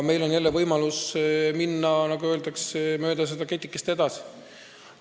Meil on siis jälle võimalus minna, nagu öeldakse, mööda seda ketikest edasi.